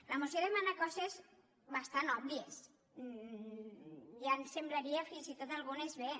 la moció demana coses bastant òbvies ja ens semblarien fins i tot algunes bé